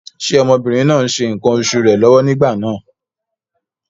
Ṣé ọmọbìnrin náà ń ṣe ǹkan oṣù rẹ̀ lọ́wọ́ nígbà náà?